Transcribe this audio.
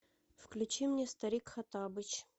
включи мне старик хоттабыч